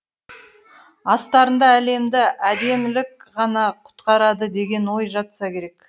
астарында әлемді әдемілік ғана құтқарады деген ой жатса керек